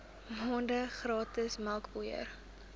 maande gratis melkpoeier